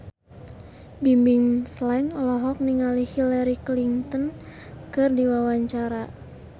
Bimbim Slank olohok ningali Hillary Clinton keur diwawancara